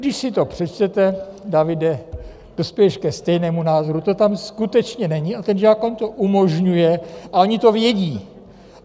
Když si to přečtete - Davide, dospěješ ke stejnému názoru, to tam skutečně není a ten zákon to umožňuje a oni to vědí.